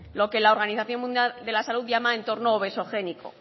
lo que la organización mundial de la salud llama entorno obesogénico